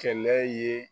Kɛlɛ ye